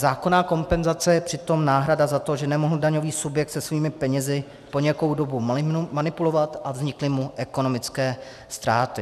Zákonná kompenzace je přitom náhrada za to, že nemohl daňový subjekt se svými penězi po nějakou dobu manipulovat a vznikly mu ekonomické ztráty.